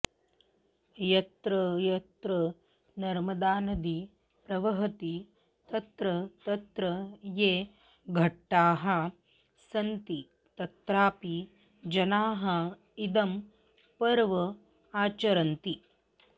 यत्र यत्र नर्मदानदी प्रवहति तत्र तत्र ये घट्टाः सन्ति तत्रापि जनाः इदं पर्व आचरन्ति